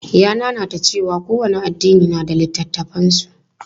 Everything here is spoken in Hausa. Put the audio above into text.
Ya nanata cewa kowane addini na da littafan su.